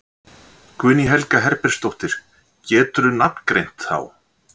Guðný Helga Herbertsdóttir: Geturðu nafngreint þá?